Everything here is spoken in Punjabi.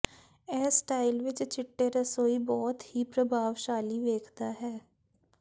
ਇਹ ਸਟਾਈਲ ਵਿੱਚ ਚਿੱਟੇ ਰਸੋਈ ਬਹੁਤ ਹੀ ਪ੍ਰਭਾਵਸ਼ਾਲੀ ਵੇਖਦਾ ਹੈ